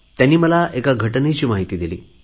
त्यांनी मला एका घटनेची माहिती दिली